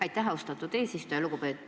Aitäh, austatud eesistuja!